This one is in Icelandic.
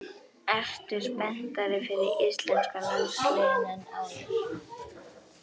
Ertu spenntari fyrir íslenska landsliðinu en áður?